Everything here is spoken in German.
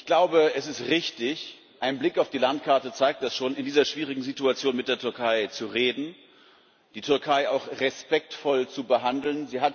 Ich glaube, es ist richtig ein Blick auf die Landkarte zeigt das schon in dieser schwierigen Situation mit der Türkei zu reden, die Türkei auch respektvoll zu behandeln.